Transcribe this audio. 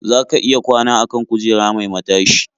Za ka iya kwana a kan kujera mai matashi.